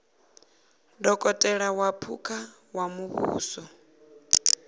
dokotela wa phukha wa muvhuso